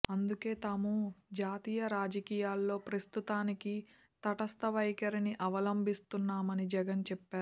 అందుకే తాము జాతీయ రాజకీయాల్లో ప్రస్తుతానికి తటస్థ వైఖరిని అవలంభిస్తున్నామని జగన్ చెప్పారు